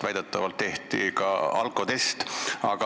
Väidetavalt tehti talle pärast seda ka alkotest.